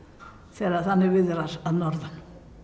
þegar þannig viðrar að norðan